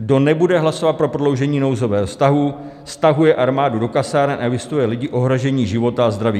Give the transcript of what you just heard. Kdo nebude hlasovat pro prodloužení nouzového stavu, stahuje armádu do kasáren a vystavuje lidi ohrožení života a zdraví.